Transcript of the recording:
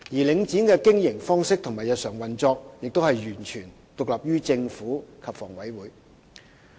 領展的經營方式和日常運作，亦完全獨立於政府及房委會。